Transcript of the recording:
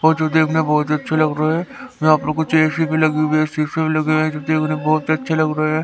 और जो देखने में बहोत अच्छे लग रहे है यहां पर कुछ चेयर सी भी लगी हुई है शीशे भी लगे हुए है जो देखने में बहोत अच्छे लग रहे है।